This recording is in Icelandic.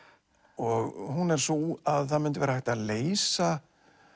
og hún er sú að það myndi vera hægt að leysa